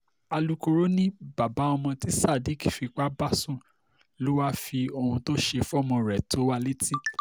alūkkóró ni bàbá ọmọ tí sadiq fipá bá sùn lọ wàá fi ohun tó ṣe fọ́mọ rẹ̀ tó wa létí